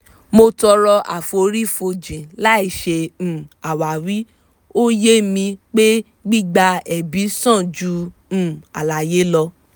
mo tọrọ àforífojìn láì ṣe um àwáwí ó ye mi pé gbigba ẹ̀bi sàn ju um àlàyé lọ